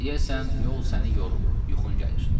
Deyəsən yol səni yorub, yuxun gəlir.